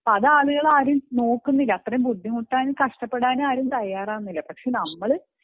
അതാളുകൾ ആരും നോക്കുന്നില്ല അത്രയും ബുദ്ധിമുട്ടാനും കഷ്ടപെടാനും തയ്യാറാവുന്നില്ല പക്ഷെ നമ്മൾ